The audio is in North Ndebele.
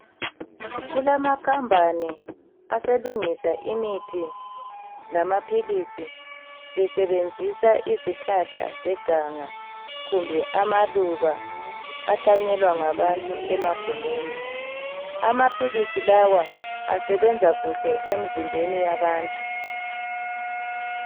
Kulamakhampani aselungisa imithi lamaphilisi besebenzisa izihlahla zeganga kumbe amaluba ahlanyelwa ngabantu emagumeni. Amaphilisi lawa asebenza kuhle emzimbeni yabantu.